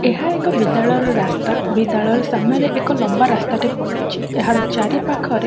ଏହା ଏକ ବିଦାଳୟର ରାସ୍ତା। ବିଦାଳୟର ସାମ୍ନାରେ ଏକ ଲମ୍ବା ରାସ୍ତାଟେ ପଡ଼ି ଅଛି ଏହାର ଚାରି ପାଖରେ --